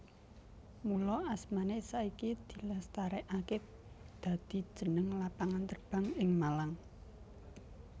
Mula asmané saiki dilestarèkaké dadi jeneng lapangan terbang ing Malang